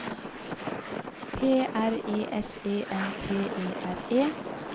P R E S E N T E R E